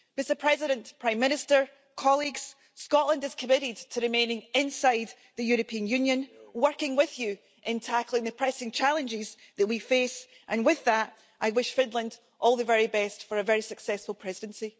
Mr President, Prime Minister, colleagues, Scotland is committed to remaining inside the European Union, working with you in tackling the pressing challenges that we face. With that, I wish Finland all the very best for a very successful Presidency.